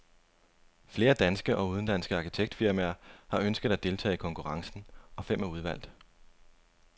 Flere danske og udenlandske arkitektfirmaer har ønsket at deltage i konkurrencen, og fem er udvalgt.